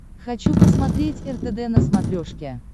хочу посмотреть ртд на смотрешке